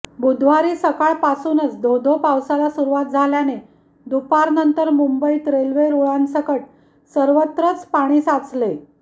बुधवारी सकाळपासूनच धो धो पावसाला सुरुवात झाल्याने दुपारनंतर मुंबईत रेल्वे रुळांसकट सर्वत्रच पाणी साचले